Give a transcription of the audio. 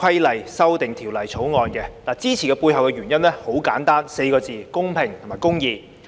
我支持《條例草案》的背後原因很簡單，四個字：公平公義。